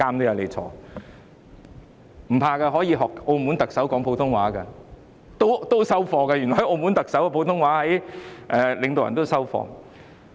不用害怕，可以學澳門特首說普通話的，原來澳門特首的普通話水平領導人也接受。